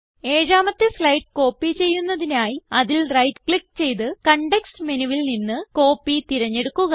ഏഴാമത്തെ slide copy ചെയ്യുന്നതിനായി അതിൽ റൈറ്റ് ക്ലിക്ക് ചെയ്ത് കോണ്ടെക്സ്റ്റ് മെനുവിൽ നിന്ന് കോപ്പി തിരഞ്ഞെടുക്കുക